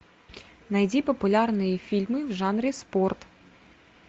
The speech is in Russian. найди популярные фильмы в жанре спорт